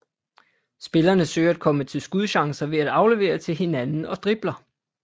Spillerne søger at komme til skudchancer ved at aflevere til hinanden og dribler